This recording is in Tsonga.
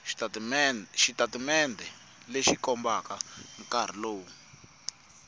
xitatimende lexi kombaka nkarhi lowu